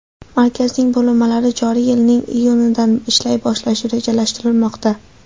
Markazning bo‘linmalari joriy yilning iyunidan ishlay boshlashi rejalashtirilmoqda.